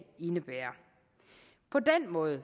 indebærer på den måde